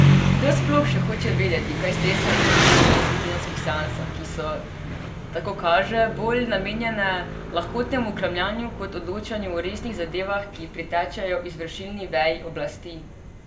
Kdo sploh še hoče vedeti, kaj stresajo ministri na svojih tedenskih seansah, ki so, tako kaže, bolj namenjene lahkotnemu kramljanju kot odločanju o resnih zadevah, ki pritičejo izvršilni veji oblasti.